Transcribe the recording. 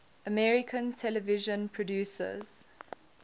american television producers